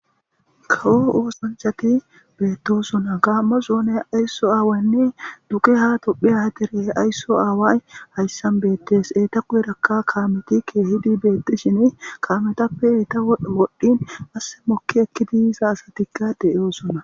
Kawo oosanchati beetto suna kaammo soone aysso aawaynne duqe ha tophehatere aysso aaway hayssan beettes eeta kuherakka kaametikke hidi beettishini kaametappe iita wodhdhin asse mokki ekki diisa asatikka de'oo suna